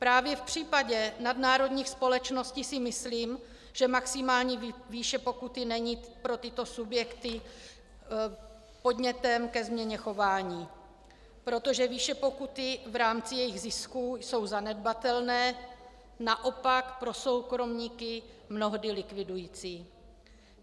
Právě v případě nadnárodních společností si myslím, že maximální výše pokuty není pro tyto subjekty podnětem ke změně chování, protože výše pokuty v rámci jejich zisku jsou zanedbatelné, naopak pro soukromníky mnohdy likvidující.